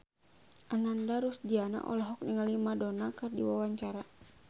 Ananda Rusdiana olohok ningali Madonna keur diwawancara